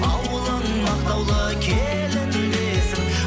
ауылың мақтаулы келін десін